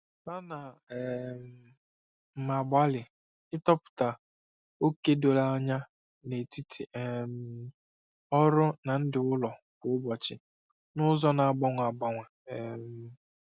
Ana um m agbalị ịtọpụta oke doro anya n'etiti um ọrụ na ndụ ụlọ kwa ụbọchị n'ụzọ na-agbanwe agbanwe. um